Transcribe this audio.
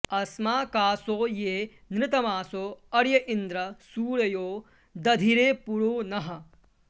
अ॒स्माका॑सो॒ ये नृत॑मासो अ॒र्य इन्द्र॑ सू॒रयो॑ दधि॒रे पु॒रो नः॑